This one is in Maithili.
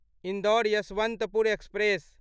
इन्दौर यशवन्तपुर एक्सप्रेस